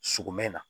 Sogomɛn na